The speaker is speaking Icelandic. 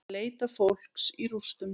Leita fólks í rústum